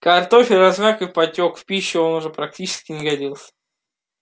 картофель размяк и потёк в пищу он уже практически не годился